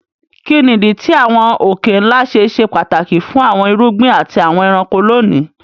Kí ni ìdí tí àwọn òkè-ńlá ṣe ṣe pàtàkì fún àwọn irúgbìn àti àwọn ẹranko lónìí?